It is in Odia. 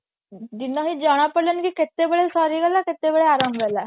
ଦିନ ବି ଜଣା ପଡିଲାନି କି କେତେବେଳେ ସରିଗଲା କେତେବେଳେ ଆରମ୍ଭ ହେଲା